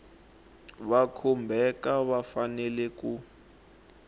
va khumbhaka va fanele ku